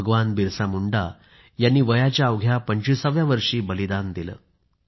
भगवान बिरसा मुंडा यांनी वयाच्या अवघ्या 25 व्या वर्षी बलिदान दिले